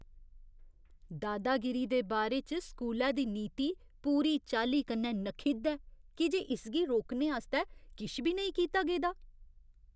दादागिरी दे बारे च स्कूलै दी नीति पूरी चाल्ली कन्नै नखिद्ध ऐ की जे इसगी रोकने आस्तै किश बी नेईं कीता गेदा ।